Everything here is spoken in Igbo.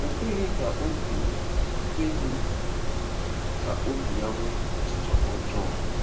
O kweghị ka obi kweghị ka obi ya nwee ọchịchọ ọjọọ.